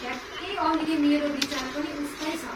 ठ्याक्कै अहिले मेरो विचार पनि उस्तै छ।